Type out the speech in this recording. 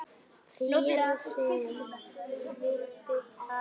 Friðrik vildi fara.